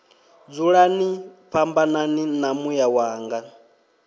dzulani fhambanani na muya wanga